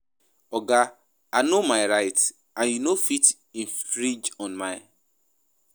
Oga I no my rights and you no fit infringe on am.